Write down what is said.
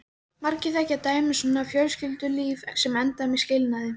Margir þekkja dæmi um svona fjölskyldulíf sem enda með skilnaði.